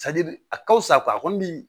a ka fisa a kɔni bi